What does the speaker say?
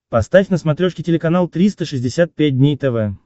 поставь на смотрешке телеканал триста шестьдесят пять дней тв